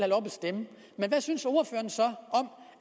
at hvad synes ordføreren så om